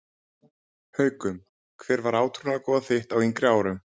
Haukum Hver var átrúnaðargoð þitt á yngri árum?